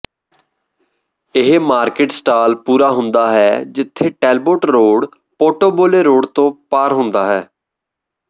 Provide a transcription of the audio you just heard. ਇਹ market stall ਪੂਰਾ ਹੁੰਦਾ ਹੈ ਜਿੱਥੇ ਟੈੱਲਬੋੋਟ ਰੋਡ ਪੋਰਟੋਬੋਲੇ ਰੋਡ ਤੋਂ ਪਾਰ ਹੁੰਦਾ ਹੈ